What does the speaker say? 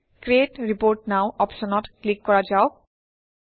ক্ৰিট report নৱ অপশ্যনত click কৰা যাওক